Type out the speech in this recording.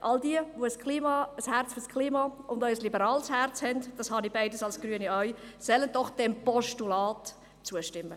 All jene, deren Herz fürs Klima schlägt und die ein liberales Herz haben – das habe ich als Grüne beides auch –, sollen doch bitte diesem Postulat zustimmen.